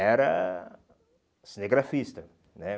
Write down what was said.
Era cinegrafista, né?